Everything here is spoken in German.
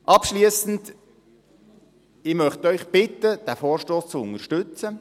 Abschliessend möchte ich Sie bitten, diesen Vorstoss zu unterstützen.